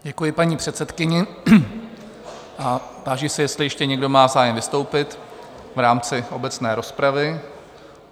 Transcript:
Děkuji paní předsedkyni a táži se, jestli ještě někdo má zájem vystoupit v rámci obecné rozpravy?